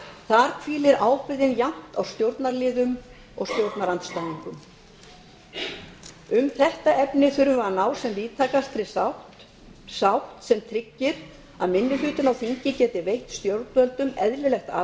þar hvílir ábyrgðin jafnt á stjórnarliðum sem stjórnarandstæðingum um þetta efni þurfum við að ná sem víðtækastri sátt sátt sem tryggir að minni hlutinn á þingi geti veitt stjórnvöldum eðlilegt